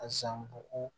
A san bugu